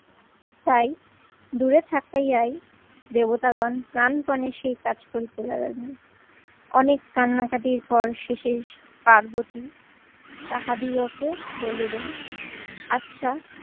তাই দূরে থাকাই দেবতাগণ প্রানপনে সেই কাজ করিতে লাগালেন। অনেক কান্নাকাটির পর শেষে পার্বতী তাহাদিগকে বলিলেন আচ্ছা